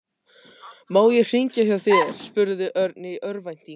Má ég hringja hjá þér? spurði Örn í örvæntingu.